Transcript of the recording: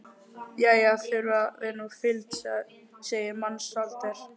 Jæja, þurfa þeir nú fylgd, segir Mensalder.